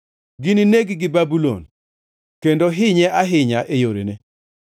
Ginineg-gi Babulon, kendo hinye ahinya e yorene.